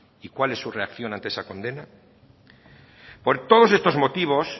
y cuál es su reacción ante esa condena por todos estos motivos